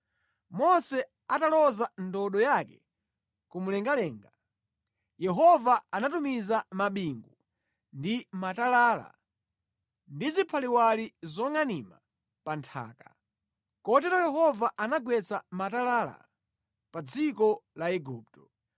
Mose ataloza ndodo yake kumwamba, Yehova anatumiza mabingu ndi matalala ndi ziphaliwali zongʼanima pa nthaka. Kotero Yehova anagwetsa matalala pa dziko la Igupto.